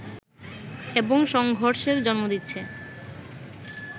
এবং সংঘর্ষের জন্ম দিচ্ছে